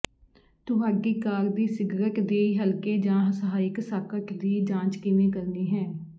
ਤੁਹਾਡੀ ਕਾਰ ਦੀ ਸਿਗਰਟ ਦੀ ਹਲਕੇ ਜਾਂ ਸਹਾਇਕ ਸਾਕਟ ਦੀ ਜਾਂਚ ਕਿਵੇਂ ਕਰਨੀ ਹੈ